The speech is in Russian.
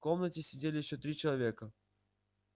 в комнате сидели ещё три человека